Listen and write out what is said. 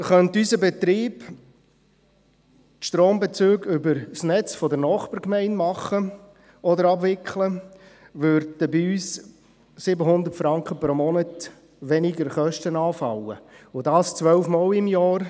Könnte unser Betrieb die Strombezüge über das Netz der Nachbargemeinde abwickeln, würden bei uns 700 Franken weniger Kosten pro Monat anfallen, und dies 12-mal pro Jahr.